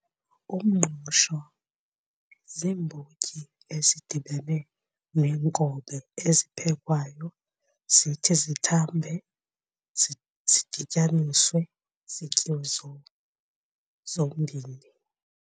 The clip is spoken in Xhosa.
Umngqusho ziimbotyi ezidibene neenkobe eziphekwayo zithi zithambe zidityaniswe zityiwe zombini.